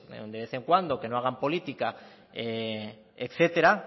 de vez en cuando que no hagan política etcétera